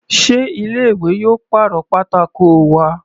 Sé ilé ìwé yóò pàrọ̀ pátákó wa?